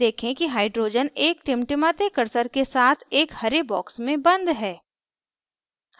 देखें कि hydrogen एक टिमटिमाते cursor के साथ एक हरे box में बंद है